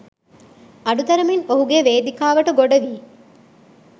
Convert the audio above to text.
අඩු තරමින් ඔහුගේ වේදිකාවට ගොඩවී